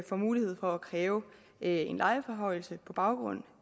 får mulighed for at kræve en lejeforhøjelse på baggrund